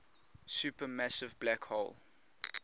supermassive black hole